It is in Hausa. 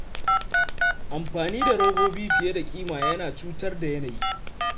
Amfani da robobi fiye da kima yana cutar da yanayi.